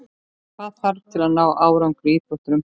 Hvað þarf til að ná árangri í íþróttum?